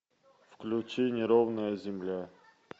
включи неровная земля